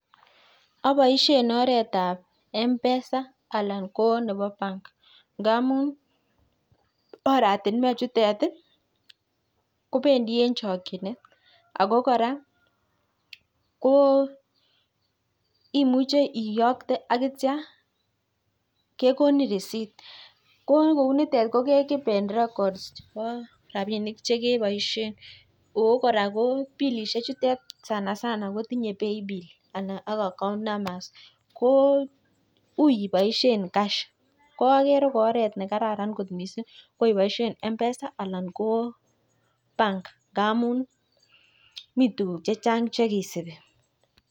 Aboishe oretab mpesa alan ko nebo bank ndamun oratinwek chutet kopendi eng chokchinet. ako kora ko imuche iyokte ak neitio kekonin reciept. Ko ngou nitet ko ke keepen records chebo rapinik chekeboishe ako kora billishe chutet kotinyei sanasana pay bill ak account numbers ko ui iboishe cash ko agere ko oret ne kararan kot mising yeboishe mpesa anan ko bank. Ngamun mii tukuk chechang che kisupi.